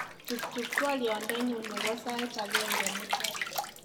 tuptup twolyonyun nebo sait agenye mutai